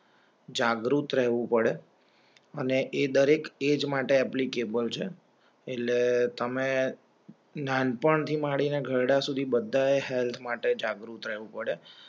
જાગૃત રહેવું પડે અને એ દરેક એજ માટ એપ્લિકેબલ છે. એટલે તમે નાનપણથી માંડીને ઘરડા સુધી બધા હેલ્થ માટે જાગૃત રહેવું પડે